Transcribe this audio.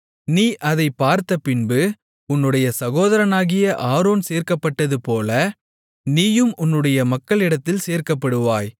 நீ அதைப் பார்த்தபின்பு உன்னுடைய சகோதரனாகிய ஆரோன் சேர்க்கப்பட்டது போல நீயும் உன்னுடைய மக்களிடத்தில் சேர்க்கப்படுவாய்